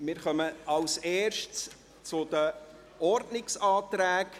Wir kommen zuerst zu den Ordnungsanträgen.